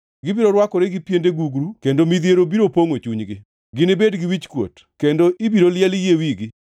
Gibiro rwakore gi piende gugru kendo midhiero biro pongʼo chunygi. Ginibed gi wichkuot, kendo ibiro liel yie wigi.